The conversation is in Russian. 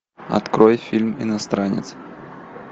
открой фильм иностранец